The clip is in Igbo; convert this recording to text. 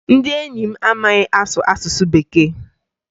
Ndị enyi m amaghị asụ asụsụ Bekee